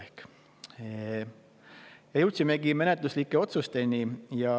Ja me jõudsimegi menetluslike otsusteni.